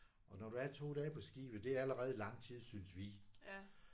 Og når du er 2 dage på skibet det er allerede lang tid synes vi